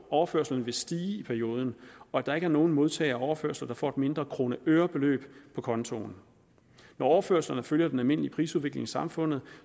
overførslerne vil stige i perioden og at der ikke er nogen modtager af overførsler der får et mindre krone øre beløb på kontoen når overførslerne følger den almindelige prisudvikling i samfundet